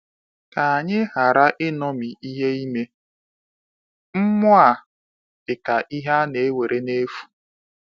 Ka anyị ghara ịṅomi ìhè ime mmụọ a dịka ihe a na-ewere n’efu!